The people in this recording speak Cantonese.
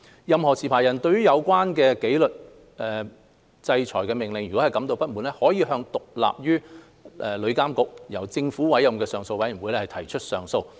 任何持牌人對有關紀律制裁命令感到不滿，可向獨立於旅監局，由政府委任的上訴委員會提出上訴。